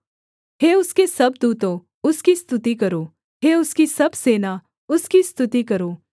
हे उसके सब दूतों उसकी स्तुति करो हे उसकी सब सेना उसकी स्तुति करो